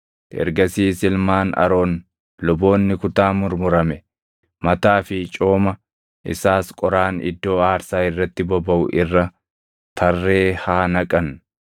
Ergasiis ilmaan Aroon luboonni kutaa murmurame, mataa fi cooma isaas qoraan iddoo aarsaa irratti bobaʼu irra tarree haa naqan.